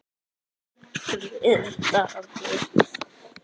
Grið Daði!